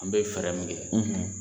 An be fɛrɛ min kɛ